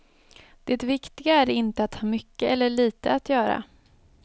Det viktiga är inte att ha mycket eller litet att göra.